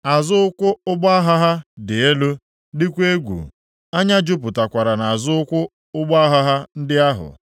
Azụ ụkwụ ụgbọ agha ha dị elu, dịkwa egwu. Anya jupụtakwara nʼazụ ụkwụ ụgbọ agha ndị ahụ.